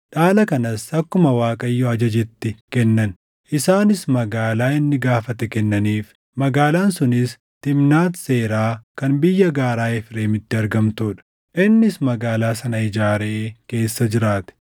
dhaala kanas akkuma Waaqayyo ajajetti kennan. Isaanis magaalaa inni gaafatee kennaniif; magaalaan sunis Timnaat Seeraa kan biyya gaaraa Efreemitti argamtuu dha. Innis magaalaa sana ijaaree keessa jiraate.